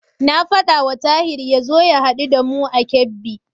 Na faɗawa Tahir ya zo ya haɗu da mu a Kebbi.